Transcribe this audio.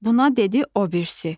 Buna dedi o birisi.